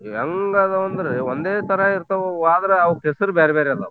ಎಲ್ಲದಾವಂದ್ರೆ ಒಂದೇತರಾ ಇರ್ತಾವವು ಆದ್ರ ಅವ್ಕ್ ಹೆಸರ್ ಬ್ಯಾರ್ಬ್ಯಾರೆ ಅದಾವ್.